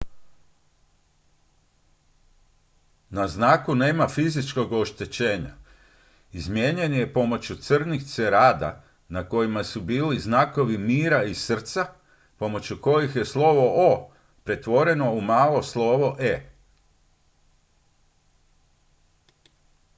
"na znaku nema fizičkog oštećenja; izmijenjen je pomoću crnih cerada na kojima su bili znakovi mira i srca pomoću kojih je slovo "o" pretvoreno u malo slovo "e"".